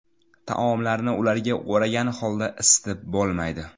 Taomlarni ularga o‘ragan holda isitib bo‘lmaydi.